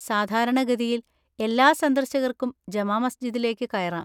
സാധാരണ ഗതിയിൽ എല്ലാ സന്ദർശകർക്കും ജമാ മസ്ജിദിലേക്ക് കയറാം.